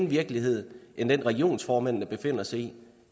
virkelighed end den regionsformanden befinder sig i